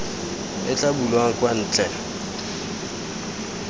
e tla bulwang kwa ntle